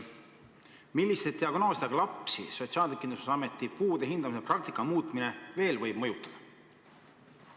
Milliste diagnoosidega lapsi Sotsiaalkindlustusameti puude hindamise praktika muutmine veel võib mõjutada?